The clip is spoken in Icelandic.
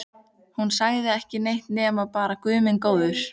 Hún sagði ekki neitt nema bara Guð minn góður.